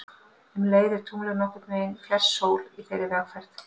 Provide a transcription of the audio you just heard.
Um leið er tunglið nokkurn veginn fjærst sól í þeirri umferð.